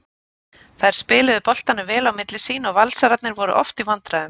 Þær spiluðu boltanum vel á milli sín og Valsararnir voru oft í vandræðum.